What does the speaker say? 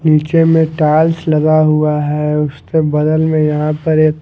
नीचे में टाइल्स लगा हुआ है उसके बगल में यहां पर एक--